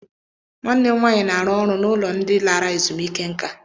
Nwanne m nwanyị na-arụ ọrụ n'ụlọ ndị lara ezumike nka.